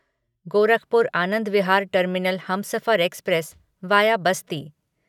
Gorakhpur Anand Vihar terminal Humsafar express via Basti